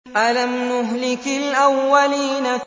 أَلَمْ نُهْلِكِ الْأَوَّلِينَ